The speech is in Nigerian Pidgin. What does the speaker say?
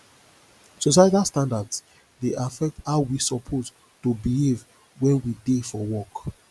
societal standards dey affect how we suppose to behave when we dey for work